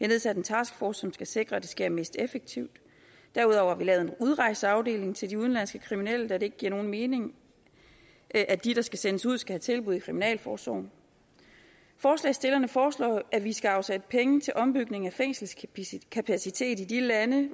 nedsat en taskforce som skal sikre at det sker mest effektivt derudover har vi lavet en udrejseafdeling til de udenlandske kriminelle da det ikke giver nogen mening at at de der skal sendes ud skal have tilbud i kriminalforsorgen forslagsstillerne foreslår at vi skal afsætte penge til ombygning af fængselskapacitet i de lande